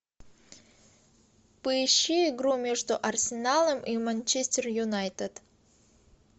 поищи игру между арсеналом и манчестер юнайтед